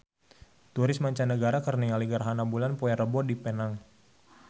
Turis mancanagara keur ningali gerhana bulan poe Rebo di Penang